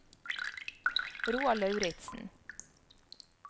Roald Lauritzen